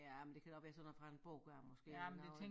Ja man det kan godt være sådan noget fra en bog gør måske eller noget